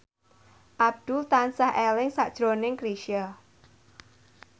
Abdul tansah eling sakjroning Chrisye